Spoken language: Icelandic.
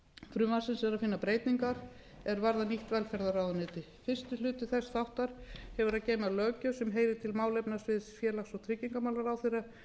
frumvarpsins er að finna breytingar er varða nýtt velferðarráðuneyti fyrsti hluti þess þáttar hefur að geyma löggjöf sem heyrir til málefnasvið félags og tryggingamálaráðherra